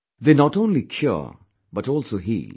They not only cure but also heal